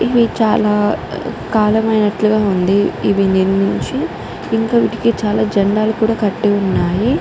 ఇవి చాల కాలం అయినటుగ వుంది ఇవి నిర్మించి ఇంకా వీటికి చాల జెండాలు కూడా కట్టి వున్నాయ్.